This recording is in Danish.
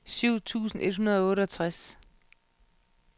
syv tusind et hundrede og otteogtres